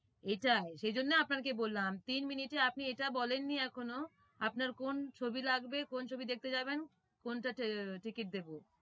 এটাই সেই জন্যই আপনাকে বললাম তিন minute এ আপনি এটা বলেননি এখনো আপনার কোন ছবি লাগবে কোন ছবি দেখতে যাবেন কোনটার ticket দেব